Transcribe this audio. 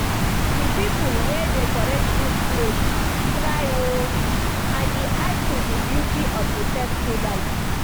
The people wey decorate dis place try oo and e add to the beauty of the festival